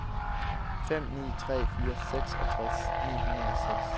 fem ni tre fire seksogtres ni hundrede og seks